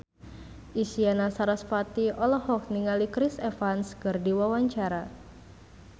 Isyana Sarasvati olohok ningali Chris Evans keur diwawancara